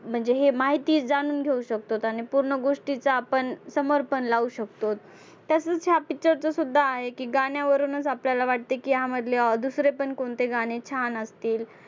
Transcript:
म्हणजे हे माहिती जाणून घेऊ शकतो आणि पूर्ण गोष्टीचा आपण समर्पण लावू शकतो. तसंच हा picture चं सुद्धा आहे की गाण्यावरूनच आपल्याला वाटते की ह्यांमधले दुसरे पण कोणते गाणे छान असतील.